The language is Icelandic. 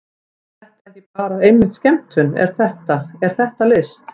Er þetta ekki bara einmitt skemmtun, er þetta, er þetta list?